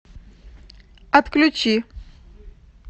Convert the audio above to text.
отключи